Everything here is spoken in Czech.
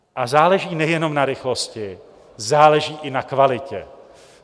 A záleží nejenom na rychlosti, záleží i na kvalitě.